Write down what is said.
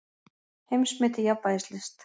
Heimsmet í jafnvægislist